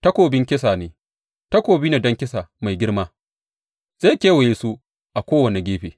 Takobin kisa ne, takobi ne don kisa mai girma, zai kewaye su a kowane gefe.